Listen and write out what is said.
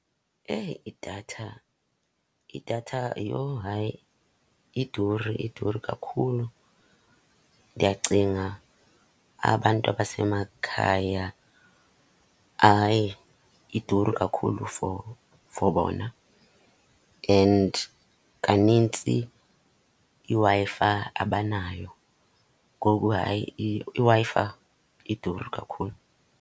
Eyi idatha, idatha yho hayi iduri, iduri kakhulu. Ndiyacinga abantu abasemakhaya, hayi iduri kakhulu for, for bona. And kanintsi iWi-Fi abanayo. Ngoku hayi iWi-Fi iduri kakhulu.